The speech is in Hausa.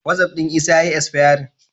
Wasi'of ɗin Isa ya yi isfayarin.